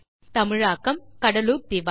தமிழாக்கம் கடலூர் திவா